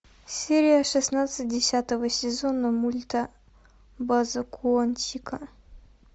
серия шестнадцать десятого сезона мульта база куантико